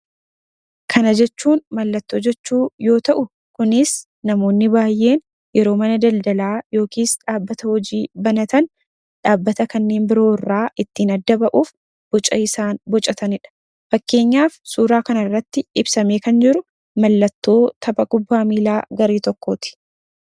Kana jechuun mallattoo yoo ta'u, kunis namoonni baay'ee yeroo mana daldalaa yookiin dhaabbata hojii banatan dhaabbata kanneen biroo irraa ittiin adda bahuuf, boca isaan bocatanidha. Kan suura kana irratti arginu kunis mallattoo tapha kubbaa miilaa garee Buna Itoophiiyaati.